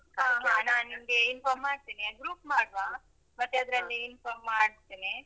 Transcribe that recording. ಹ ಹ ನಾನ್ ನಿಮ್ಗೆ inform ಮಾಡ್ತೇನೆ group ಮಾಡುವ. ಮತ್ತೆ ಅದ್ರಲ್ಲಿ. inform ಮಾಡ್ತೇನೆ.